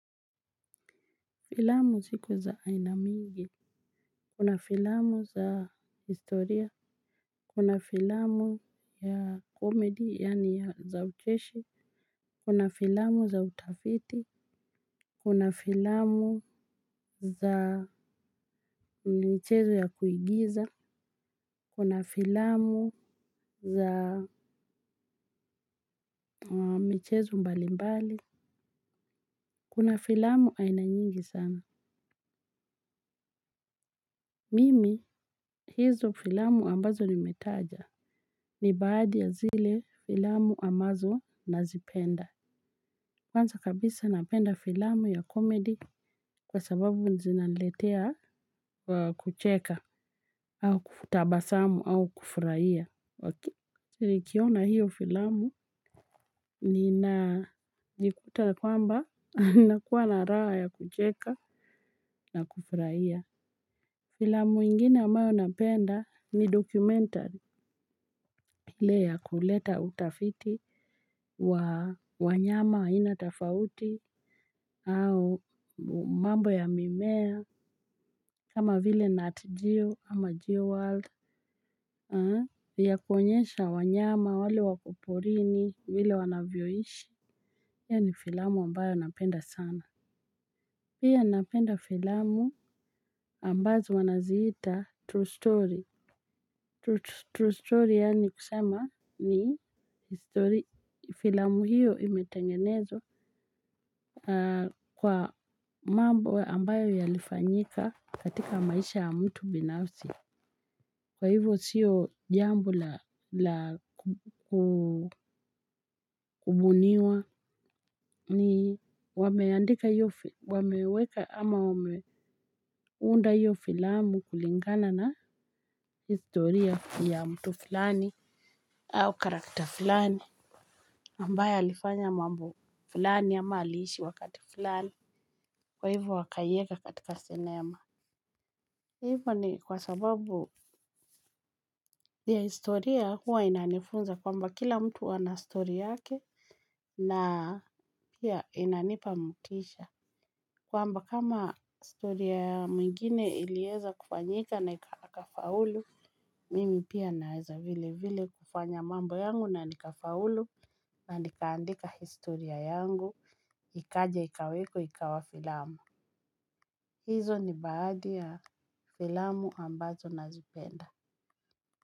Filamu ziko za aina mingi, kuna filamu za historia, kuna filamu ya komedi yaani za ucheshi, kuna filamu za utafiti, kuna filamu za mchezo ya kuigiza, kuna filamu za michezo mbali mbali, kuna filamu aina nyingi sana. Mimi, hizo filamu ambazo nimetaja ni baadhi ya zile filamu ambazo nazipenda. Kwanza kabisa napenda filamu ya comedy kwa sababu zinaniletea kucheka au kutabasamu au kufurahia. Nikiona hiyo filamu ninajikuta kwamba nakuwa na raha ya kucheka na kufurahia. Filamu ingine ambayo napenda ni documentary ile ya kuleta utafiti wa wanyama wa aina tofauti au mambo ya mimea kama vile Nat Geo ama Geo World ya kuonyesha wanyama wale wako porini vile wanavyoishi. Hiyo ni filamu ambayo napenda sana pia napenda filamu ambazo wanaziita True Story True story yani kusema ni filmu hiyo imetengenezwa kwa mambo ambayo yalifanyika katika maisha ya mtu binafsi. Kwa hivo siyo jambo la kubuniwa ni wameandika wameweka ama wameunda hiyo filmu kulingana na historia ya mtu fulani au character fulani. Ambaye alifanya mambo fulani ama aliishi wakati fulani kwa hivo wakaieka katika cinema. Hivo ni kwa sababu ya historia huwa inanifunza kwamba kila mtu ana story yake na pia inanipa motisha. Kwamba kama historia ya mwingine ilieza kufanyika na akafaulu, mimi pia naeza vile vile kufanya mambo yangu na nikafaulu. Na nikaandika historia yangu ikaja ikawekwa ikawa filamu. Hizo ni baadhi ya filamu ambazo nazipenda.